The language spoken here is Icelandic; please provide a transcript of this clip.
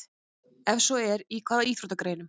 Ef svo er, í hvaða íþróttagreinum?